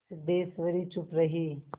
सिद्धेश्वरी चुप रही